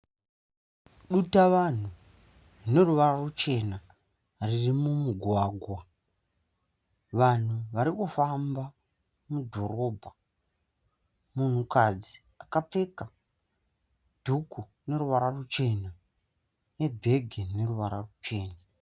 Dutavanhu rine ruvara ruchena riri mumugwagwa. Vanhu varikufamba mudhorobha. Munhukadzi akapfeka dhuku ine ruvara ruchena nebhege rine ruvara ruchena.